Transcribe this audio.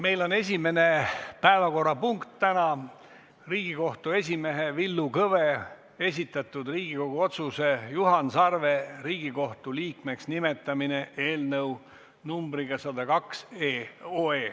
Meie esimene päevakorrapunkt täna on Riigikohtu esimehe Villu Kõve esitatud Riigikogu otsuse "Juhan Sarve Riigikohtu liikmeks nimetamine" eelnõu numbriga 102.